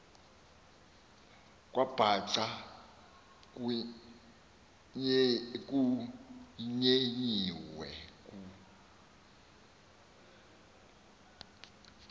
kwabhaca kutyetyiwe ku